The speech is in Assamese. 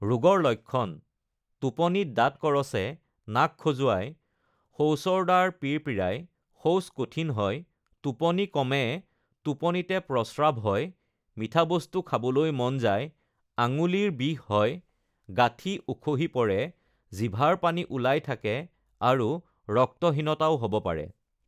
ৰোগৰ লক্ষণ: টোপনিত দাঁত কৰচে, নাক খজুৱায়, শৌচৰদ্বাৰ পিৰপিৰায়, শৌচ কঠিন হয়, টোপনি কমে, টোপনিতে প্ৰস্ৰাৱ হয়, মিঠা বস্তু খাবলৈ মন যায়, আঙুলিৰ বিষ হয়, গাঁঠি উখহি পৰে, জিভাৰ পানী ওলাই থাকে আৰু ৰক্তহীনতাও হ'ব পাৰে।